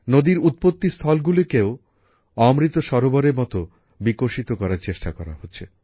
নদীর উৎপত্তিস্থলকেও অমৃত সরোবরের মতো বিকশিত করার চেষ্টা করা হচ্ছে